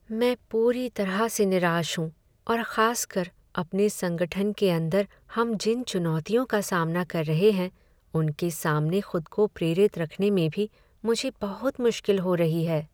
मैं पूरी तरह से निराश हूँ और खास कर अपने संगठन के अंदर हम जिन चुनौतियों का सामना कर रहे हैं उनके सामने खुद को प्रेरित रखने में भी मुझे बहुत मुश्किल हो रही है।